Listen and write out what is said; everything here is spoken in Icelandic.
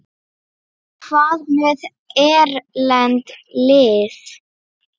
Hvað með erlend lið?